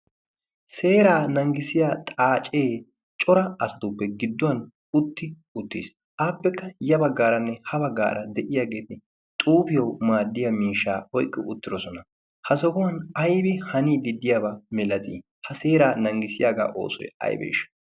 seeraa nanggisiya xaacee cora asttuppe gidduwan utti uttiis. Aappekka ya baggaaranne ha baggaara de'iyaageeti xuufiyawu maaddiya miishaa oiqqi uttidosona. Ha sohuwan aybi hani diddiyaabaa milatii? Ha seeraa nanggisiyaagaa oosoi aybe ishi?